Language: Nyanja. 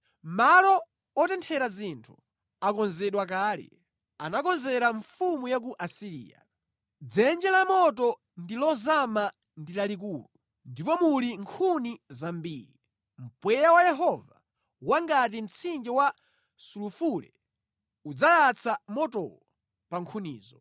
Malo otenthera zinthu akonzedwa kale; anakonzera mfumu ya ku Asiriya. Dzenje la motolo ndi lozama ndi lalikulu, ndipo muli nkhuni zambiri; mpweya wa Yehova, wangati mtsinje wa sulufule, udzayatsa motowo pa nkhunizo.